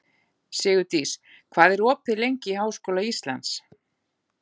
Sigurdís, hvað er opið lengi í Háskóla Íslands?